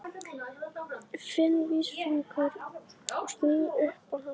Finn vísifingur og sný upp á hann.